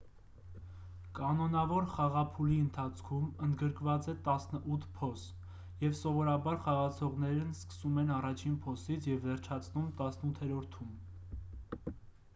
կանոնավոր խաղափուլի ընթացքում ընդգրկված է տասնութ փոս և սովորաբար խաղացողներն սկսում են առաջին փոսից և վերջացնում տասնութերորդում